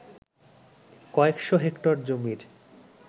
কয়েকশ’ হেক্টর জমির